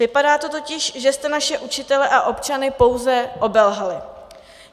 Vypadá to totiž, že jste naše učitele a občany pouze obelhali.